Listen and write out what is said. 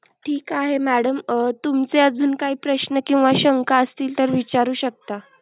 ठीक आहे madam तुमचे अजून काही प्रश्न किंवा शंका असतील तर विचारू शकता.